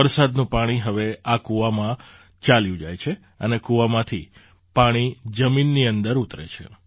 વરસાદનું પાણી હવે આ કુવામાં ચાલ્યું જાય છે અને કુવામાંથી પાણી જમીનની અંદર ઉતરે છે